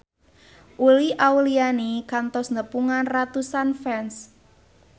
Uli Auliani kantos nepungan ratusan fans